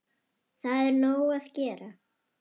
Það er nóg að gera.